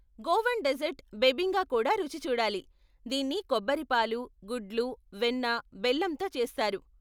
Goan dessert bebinca కూడా రుచి చూడాలి, దీన్ని కొబ్బరి పాలు, గుడ్లు, వెన్న, బెల్లంతో చేస్తారు.